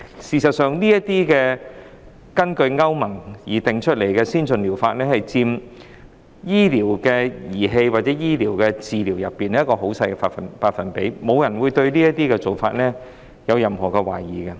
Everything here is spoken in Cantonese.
事實上，這些根據歐洲聯盟定義的先進療法，在醫療儀器或醫療治療方面只佔極小百分比，沒有人對此舉有任何質疑。